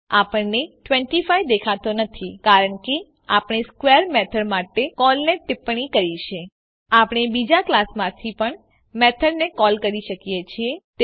આપણને ૨૫ દેખાતો નથી કારણ કે આપણે સ્ક્વેર મેથડ માટે કોલને ટીપ્પણી કરી છે આપણે બીજા ક્લાસમાંથી પણ મેથડને કોલ કરી શકીએ છીએ